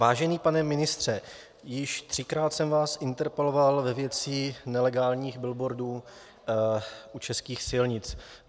Vážený pane ministře, již třikrát jsem vás interpeloval ve věci nelegálních billboardů u českých silnic.